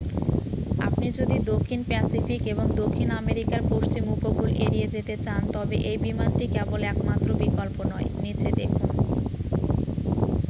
আপনি যদি দক্ষিণ প্যাসিফিক এবং দক্ষিণ আমেরিকার পশ্চিম উপকূল এড়িয়ে যেতে চান তবে এই বিমানটি কেবল একমাত্র বিকল্প নয়। নিচে দেখুন